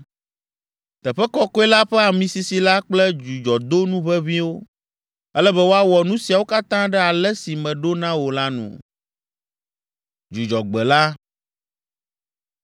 Teƒe Kɔkɔe la ƒe amisisi la kple dzudzɔdonu ʋeʋĩwo. “Ele be woawɔ nu siawo katã ɖe ale si meɖo na wò la nu.”